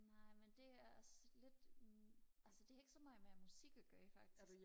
nej men det er også lidt altså det er ikke så meget med musik og gøre faktisk